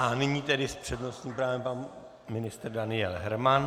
A nyní tedy s přednostním právem pan ministr Daniel Herman.